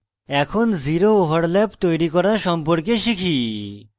এখন zero overlap তৈরি করা সম্পর্কে শিখি